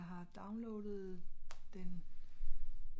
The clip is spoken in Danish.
øhm jeg har downloadet den